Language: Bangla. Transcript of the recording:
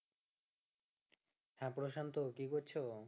হ্যাঁ প্রশান্ত কি করছো